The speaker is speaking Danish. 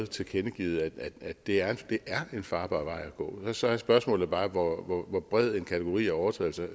tilkendegivet at det er en farbar vej at gå så er spørgsmålet bare hvor hvor bred en kategori af overtrædelser